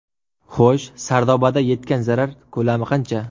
Xo‘sh , Sardobada yetgan zarar ko‘lami qancha ?